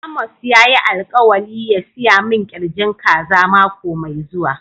Amos ya yi alkawali ya siya min kirjin kaza mako me zuwa.